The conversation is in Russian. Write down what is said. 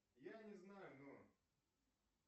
я не знаю но